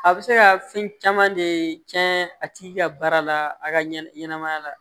A bɛ se ka fɛn caman de tiɲɛ a tigi ka baara la a ka ɲɛnamaya la